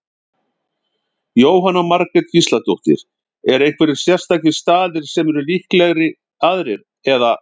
Jóhanna Margrét Gísladóttir: Eru einhverjir sérstakir staðir sem eru líklegri aðrir, eða?